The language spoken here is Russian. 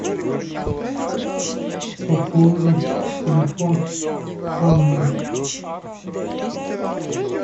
пополни телефон анны